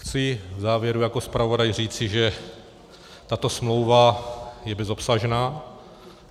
Chci v závěru jako zpravodaj říci, že tato smlouva je bezobsažná.